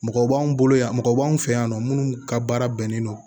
Mɔgɔ b'an bolo yan mɔgɔ b'anw fɛ yan nɔ minnu ka baara bɛnnen don